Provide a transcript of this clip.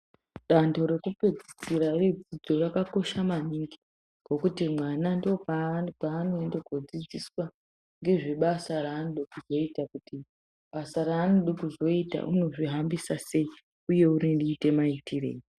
Dando reku pedzisira re dzidzo rakakosha maningi ngekuti mwana ndo kwa ano ende ko dzidziswa ngezve basa ranoda kuzoita kuti basa raanode kuzoita unozvi hambisa sei uye unoite ma itirei.